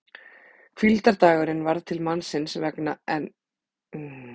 Hvíldardagurinn varð til mannsins vegna en ekki maður vegna hvíldardagsins!